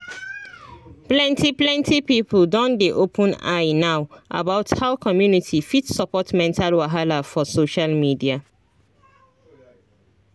plenty plenty people don dey open eye now about how community fit support mental wahala for social media